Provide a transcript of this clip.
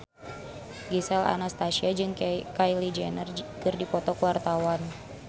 Gisel Anastasia jeung Kylie Jenner keur dipoto ku wartawan